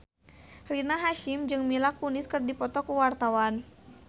Rina Hasyim jeung Mila Kunis keur dipoto ku wartawan